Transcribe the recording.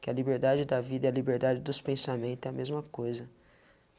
Que a liberdade da vida e a liberdade dos pensamento, é a mesma coisa.